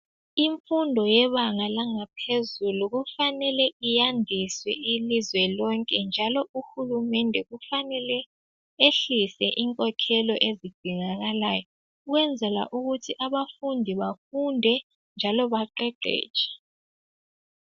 Imfundo yebanga langaphezulu kufanele iyandiswe ilizwe lonke njalo uhulumende kufanele ehlise inkokhelo ezidingakalayo ukwenzela ukuthi abafundi bafunde njalo baqeqetshe.